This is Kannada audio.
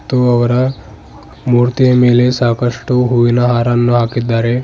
ಮತ್ತು ಅವರ ಮೂರ್ತಿಯ ಮೇಲೆ ಸಾಕಷ್ಟು ಹೂವಿನ ಹಾರನ್ನು ಹಾಕಿದ್ದಾರೆ.